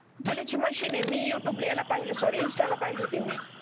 कुरपणे ची मशीन आहे मी यूट्यूब ला पहिलं सॉरी इंस्ताला पहिली होती मी